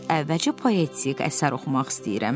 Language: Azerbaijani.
Əvvəlcə poetik əsər oxumaq istəyirəm.